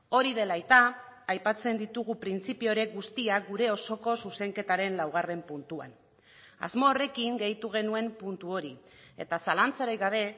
hori dela eta aipatzen ditugu printzipio horiek guztiak gure osoko zuzenketaren laugarren puntuan asmo horrekin gehitu genuen puntu hori eta zalantzarik gabe